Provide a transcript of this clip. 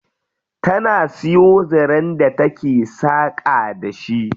Tana siyo zaren da take saƙa da shi.